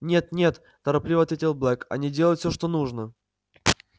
нет нет торопливо ответил блэк они делают всё что нужно